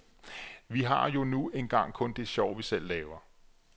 Vi har jo nu engang kun det sjov, vi selv laver.